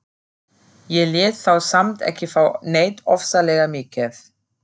Ég lét þá samt ekki fá neitt ofsalega mikið.